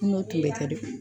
N'o tun be do